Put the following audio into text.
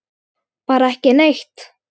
Bara ekki neitt.